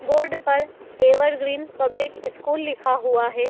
Board पर evergreen public school लिखा हुआ है।